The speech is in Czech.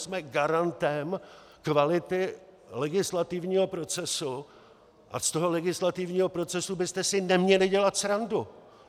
Jsme garantem kvality legislativního procesu a z toho legislativního procesu byste si neměli dělat srandu.